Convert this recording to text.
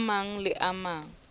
a mang le a mang